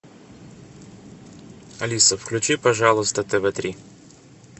алиса включи пожалуйста тв три